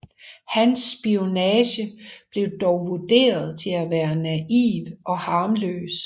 Hans spionage blev dog vurderet til at være naiv og harmløs